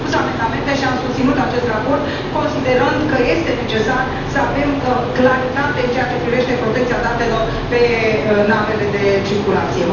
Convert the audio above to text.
Am depus amendamente și am susținut acest raport, considerând că este necesar să avem claritate în ceea ce privește protecția datelor pe navele de circulație.